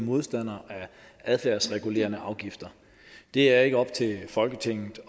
modstandere af adfærdsregulerende afgifter det er ikke op til folketinget